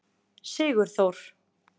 Sigurþór